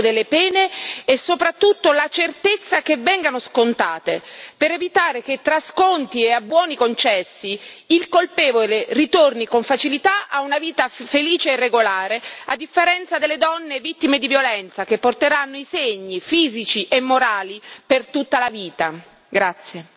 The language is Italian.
In parallelo con tutte le misure preventive, dobbiamo chiedere un inasprimento delle pene e soprattutto la certezza che vengano scontate per evitare che tra sconti e abbuoni concessi, il colpevole ritorni con facilità a una vita felice e regolare, a differenza delle donne vittime di violenza, che porteranno i segni fisici e morali per tutta la vita.